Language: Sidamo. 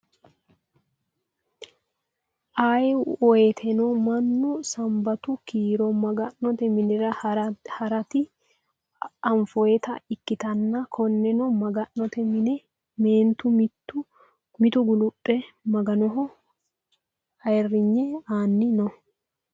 Ayee woyiiteno mannu sanbatu kiiro maga'note minira haraati anfoyiita ikkitanna konneno maga'note mine meentu mitu guluphe maganoho ayiirigne anni no.